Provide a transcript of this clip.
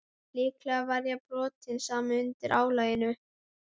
Líklega var ég að brotna saman undan álaginu.